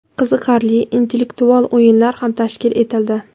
qiziqarli intellektual o‘yinlar ham tashkil etildi.